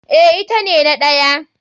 Eh ita ne na ɗaya.